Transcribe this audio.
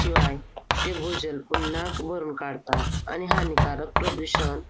शिवाय ते भूजल पुन्हा भरून काढतात, आणि हानिकारक प्रदूषण